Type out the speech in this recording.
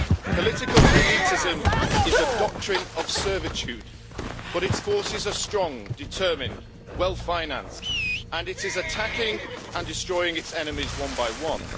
Political elitism is a doctrine of servitude, but its forces are strong, determined and well financed and it is attacking and destroying its enemies one by one.